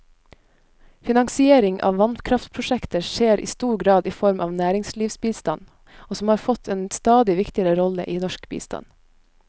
Finansiering av vannkraftprosjekter skjer i stor grad i form av næringslivsbistand, som har fått en stadig viktigere rolle i norsk bistand.